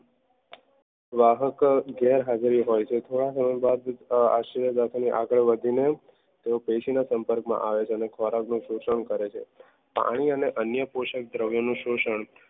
વાહક ગેરહાજરી હોય છે થોડા સમય બાદ આશ્ચર્ય દાદાને આગળ વધીને તેઓ પેસી ના સંપર્ક માં આવે છે અને ખોરાક નું શોષણ કરે છે પાણી અને અન્ય દ્રવ્ય પોષણ નું શોષણ